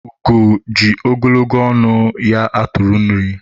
ugo ji ogologo ọnụ ya atụ nri